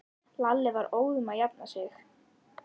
Lalli var óðum að jafna sig.